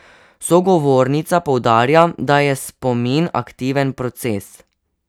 Sogovornica poudarja, da je spomin aktiven proces.